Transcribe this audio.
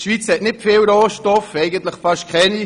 Die Schweiz hat nicht viele Rohstoffe, eigentlich fast keine.